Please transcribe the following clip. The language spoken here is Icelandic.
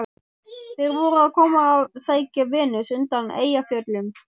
Þeir voru að koma að sækja Venus undan Eyjafjöllum.